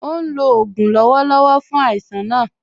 Ó ń lò ògùn lọ́wọ́lọ́wọ́ fún àìsàn náà